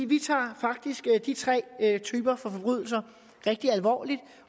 vi tager faktisk de tre typer for forbrydelser rigtig alvorligt